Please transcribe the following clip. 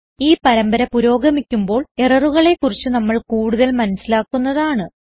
ഈ പരമ്പര പുരോഗമിക്കുമ്പോൾ എററുകളെ കുറിച്ച് നമ്മൾ കൂടുതൽ മനസിലാക്കുന്നതാണ്